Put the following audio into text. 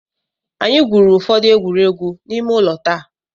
Anyị gwurù ụfọdụ egwuregwu ime ụlọ taa.